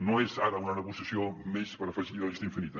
no és ara una negociació més per afegir a la llista infinita